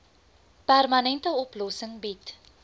permanente oplossing bied